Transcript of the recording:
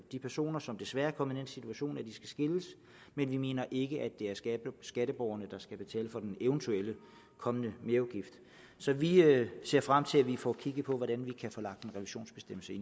de personer som desværre er kommet i den situation at de skal skilles men vi mener ikke det er skatteborgerne der skal betale for den eventuelt kommende merudgift så vi ser frem til at vi får kigget på hvordan vi kan få lagt en revisionsbestemmelse